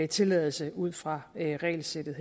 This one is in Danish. tilladelse ud fra regelsættet